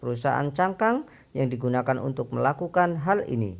perusahaan cangkang yang digunakan untuk melakukan hal ini